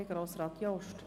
Bitte, Grossrat Jost.